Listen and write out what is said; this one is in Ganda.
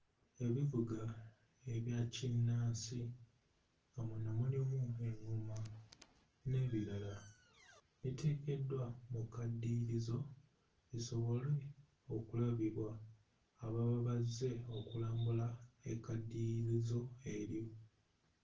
Ebivuga ebya kinnansi nga muno mulimu eŋŋoma n'ebirala biteekeddwa mu kkaddiyirizo bisobole okulabibwa ababa bazze okulambula ekkaddiyirizo eryo.